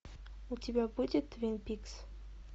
у тебя будет твин пикс